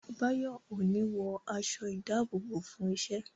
Báyọ̀ ò ní wọ aṣọ ìdábòbò fún iṣẹ́